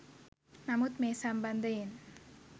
නමුත් මේ සම්බන්ධයෙන්